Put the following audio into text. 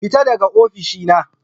Fita daga ofishina